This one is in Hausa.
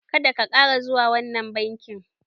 Ka da ka ƙara zuwa wannan bankin!